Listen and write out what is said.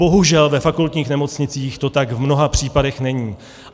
Bohužel ve fakultních nemocnicích to tak v mnoha případech není.